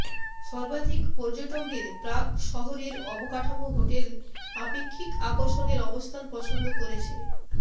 সর্বাধিক পর্যটকদের প্রাগ শহরের অবকাঠামো হোটেল আপেক্ষিক আকর্ষণের অবস্থান পছন্দ করেছে